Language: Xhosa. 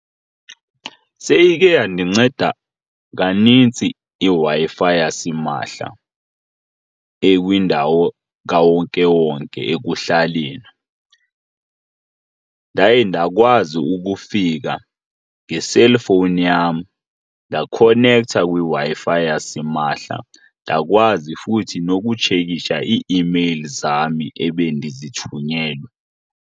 Seyike yandinceda kanintsi iWi-fi yasimahla ekwindawo kawonkewonke ekuhlaleni. Ndaye ndakwazi ukufika ngeselfowuni yam ndakhonektha kwiWi-Fi yasimahla ndakwazi futhi nokutshekisha ii-meyili zam ebendizithunyelwe.